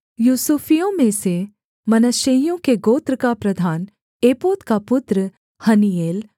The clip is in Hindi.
यूसुफियों में से मनश्शेइयों के गोत्र का प्रधान एपोद का पुत्र हन्नीएल